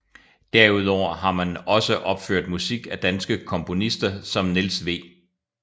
Derudover har man opført musik af danske komponister som Niels W